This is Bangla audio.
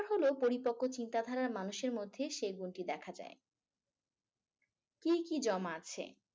হলো পরিপক্ক ও চিন্তাধারার মানুষের মধ্যে সে গুনটি দেখা যায়। কি কি জমা আছে।